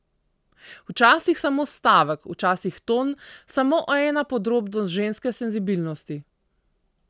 Včasih samo stavek, včasih ton, samo ena podrobnost ženske senzibilnosti.